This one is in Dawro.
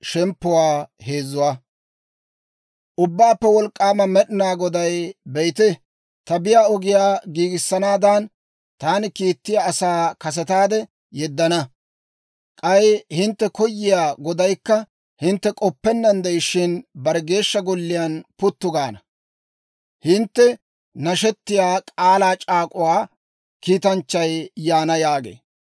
Ubbaappe Wolk'k'aama Med'ina Goday, «Be'ite, ta biyaa ogiyaa giigissanaadan, taani kiittiyaa asaa kasetaade yeddana; k'ay hintte koyiyaa Godaykka hintte k'oppennaan de'ishshin, bare Geeshsha Golliyaa puttu gaana. Hintte nashettiyaa, k'aalaa c'aak'uwaa kiitanchchay yaana» yaagee.